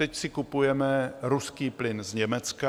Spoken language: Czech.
Teď si kupujeme ruský plyn z Německa.